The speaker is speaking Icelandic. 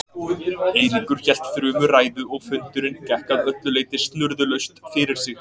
Eiríkur hélt þrumuræðu og fundurinn gekk að öllu leyti snurðulaust fyrir sig.